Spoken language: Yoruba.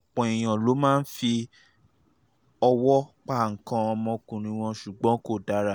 ọ̀pọ̀ èèyàn ló máa ń fọwọ́ um pa nǹkan ọmọkùnrin wọn ṣùgbọ́n kò dára